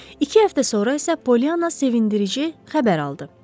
İki həftə sonra isə Poliana sevindirici xəbər aldı.